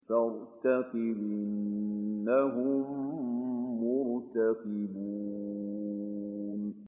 فَارْتَقِبْ إِنَّهُم مُّرْتَقِبُونَ